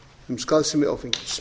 um skaðsemi áfengis